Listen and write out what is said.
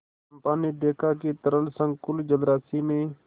चंपा ने देखा कि तरल संकुल जलराशि में